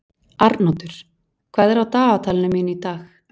Arnoddur, hvað er á dagatalinu mínu í dag?